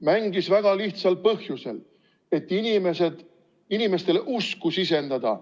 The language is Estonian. Mängis väga lihtsal põhjusel: et inimestele usku sisendada.